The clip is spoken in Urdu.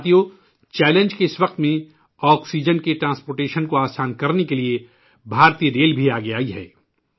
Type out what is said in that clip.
ساتھیو ، چیلنج کے اس وقت میں ، آکسیجن کی نقل و حمل کو آسان کرنے کے لئے بھارتی ریلوے بھی آگے آئی ہے